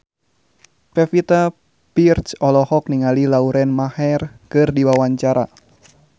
Pevita Pearce olohok ningali Lauren Maher keur diwawancara